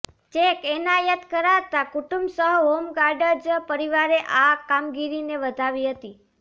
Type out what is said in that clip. check એનાયત કરાતાં કુટુંબ સહ હોમગાર્ડઝ પરિવારે આ કામગીરીને વધાવી હતી